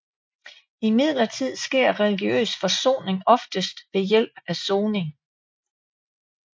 Imidlertid sker religiøs forsoning oftest ved hjælp af soning